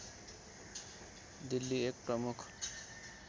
दिल्ली एक प्रमुख